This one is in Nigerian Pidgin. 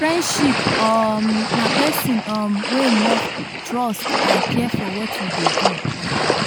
friendships um na pesin um wey love trust and care for what you dey do. um